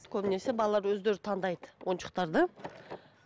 көбінесе балалар өздері таңдайды ойыншықтарды